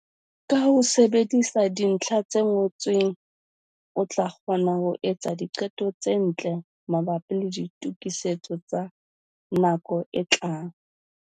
Ka ho sebedisa dintlha tse ngotsweng, o tla kgona le ho etsa diqeto tse ntle mabapi le ditokisetso tsa nako e tlang.